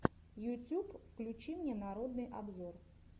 ютюб включи мне народный обзор